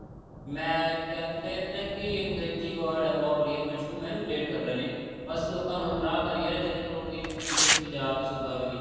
ਮੈਂ ਕਹਿੰਦੇ ਹੈ ਨਾ ਕਿ ਅੰਗ੍ਰੇਜੀ word ਹੈ ਬਹੁਤ ਬੜੀਆਂ manipulate ਕਰ ਰਹੇ ਨੇ ਬੱਸ ਲੋਕਾ ਨੂੰ ਗੁਮਰਾਹ ਕਰੀ ਜਾ ਰਹੇ ਨੇ ਤਿੰਨ ਕਰੋੜ ਦੀ ਆਬਾਦੀ ਹੈ ਇਸ ਪੰਜਾਬ ਦੇ ਸੂਬਾ ਦੀ